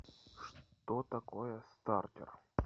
что такое стартер